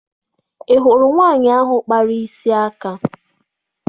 Ị hụrụ nwaanyị ahụ kpara isi aka?